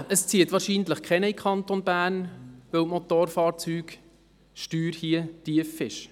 Es zieht wohl niemand in den Kanton Bern, weil die Motorfahrzeugsteuer hier tief ist.